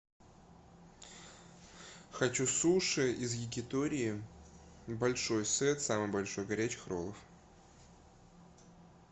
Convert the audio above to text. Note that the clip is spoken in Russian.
хочу суши из якитории большой сет самый большой горячих роллов